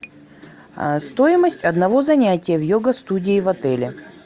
стоимость одного занятия в йога студии в отеле